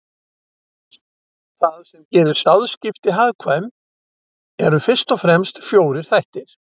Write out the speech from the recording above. Það sem gerir sáðskipti hagkvæm eru fyrst og fremst fjórir þættir.